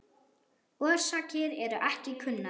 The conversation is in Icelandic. Orsakir eru ekki kunnar.